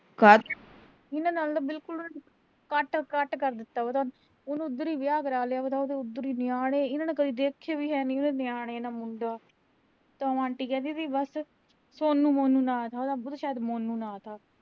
ਉਨ੍ਹਾਂ ਨਾਲੋਂ ਤਾਂ ਬਿਲਕੁਲ ਕੱਟ-ਕੱਟ ਕਰ ਦਿੱਤਾ ਉਹਦਾ। ਉਹਨੇ ਉਧਰ ਈ ਵਿਆਹ ਕਰਾ ਲਿਆ, ਉਧਰ ਈ ਨਿਆਣੇ, ਇਨ੍ਹਾਂ ਨੇ ਕਦੇ ਦੇਖੇ ਵੀ ਹੈਨੀ ਉਹਦੇ ਨਿਆਣੇ ਨਾ ਮੁੰਡਾ ਤੇ ਉਹੋ ਆਂਟੀ ਕਹਿਦੀ ਵੀ ਬਸ। ਸੋਨੂੰ ਮੋਨੂੰ ਨਾਂ ਥਾ ਉਹਦਾ, ਸ਼ਾਇਦ ਮੋਨੂੰ ਨਾਂ ਥਾ